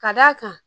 Ka d'a kan